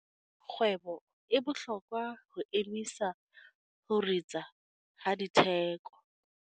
Kgwebo e bohlokwa ho emisa ho ritsa ha ditheko.